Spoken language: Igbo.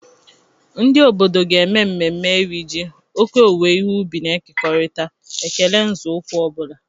Ndị obodo ga-eme mmemme Iri ji, oke owuwe ihe ubi na-ekekọrịta, ekele na nzọụkwụ ọ bụla.